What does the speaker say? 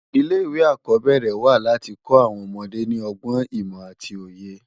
Ilé iwé ákòbèrè wá láti kò áwòn òmòdé ni ògbòn, imò áti óyé